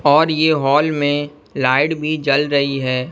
और ये हॉल में लाइट भी जल रही है।